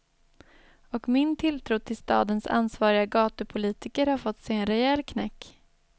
Och min tilltro till stadens ansvariga gatupolitiker har fått sig en rejäl knäck.